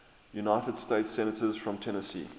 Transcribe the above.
united states senators from tennessee